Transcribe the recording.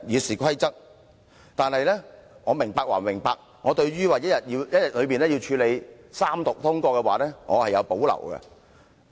不過，雖然我明白其用意，但對於要在一天之內處理三讀通過，我是有保留的。